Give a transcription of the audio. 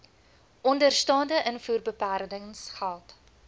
onderstaande invoerbeperkings geld